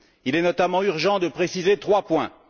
Il est notamment urgent de préciser trois points.